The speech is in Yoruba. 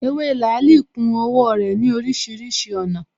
Ewé làálī ku owó rè ní orísirísi ònà